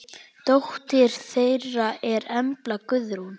Dóttir þeirra er Embla Guðrún.